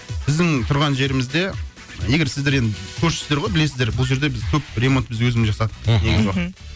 біздің тұрған жерімізде егер сіздер енді көршісіздер ғой білесіздер бұл жерде біз көп ремонт біз өзіміз жасадық мхм негізі